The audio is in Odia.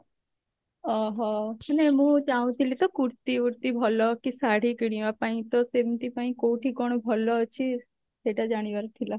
ଓଃ ହୋ actually ମୁଁ ଚାହୁଁଥିଲି ତ kurti ଫୁର୍ତି ଭଲ କି ଶାଢୀ କିଣିବା ପାଇଁ ତ ସେମତି ପାଇଁ କଉଠି କଣ ଭଲ ଅଛି ସେଇଟା ଜାଣିବାର ଥିଲା